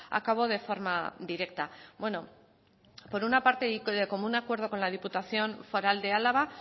a cabo de forma directa bueno por una parte y como un acuerdo con la diputación foral de álava